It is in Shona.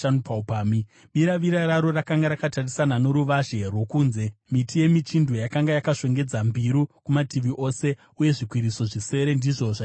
Biravira raro rakanga rakatarisana noruvazhe rwokunze; miti yemichindwe yakanga yakashongedza mbiru kumativi ose, uye zvikwiriso zvisere ndizvo zvaisvitsa ikoko.